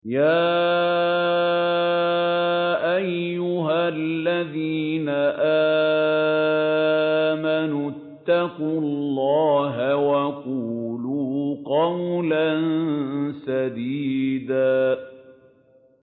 يَا أَيُّهَا الَّذِينَ آمَنُوا اتَّقُوا اللَّهَ وَقُولُوا قَوْلًا سَدِيدًا